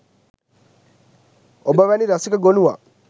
ඔබ වැනි රසික ගොනුවක්